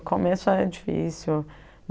No começo era difícil.